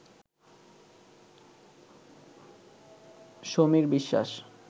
Samir Biswas